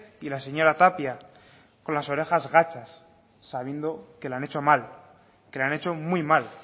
y la señora tapia con las orejas gachas sabiendo que lo han hecho mal que lo han hecho muy mal